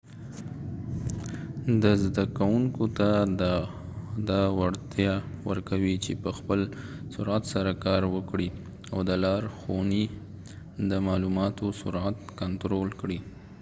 دا زده کوونکو ته دا وړتیا ورکوي چې په خپل سرعت سره کار وکړي او د لارښونې د معلوماتو سرعت کنترول کړي